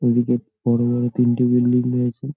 এদিকে বড় বড় তিনটি বিল্ডিং রয়েছে।